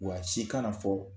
Wa si kana fɔ